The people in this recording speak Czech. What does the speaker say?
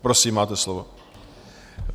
Prosím, máte slovo.